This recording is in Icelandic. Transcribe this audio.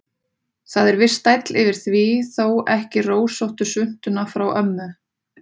Það er viss stæll yfir því, þó ekki rósóttu svuntuna frá ömmu.